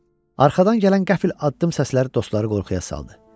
Arxadan gələn qəfil addım səsləri dostları qorxuya saldı.